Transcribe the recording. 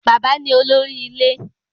Bàbá ni olórí ilé